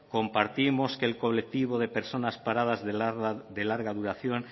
compartimos que el colectivo de personas paradas de larga duración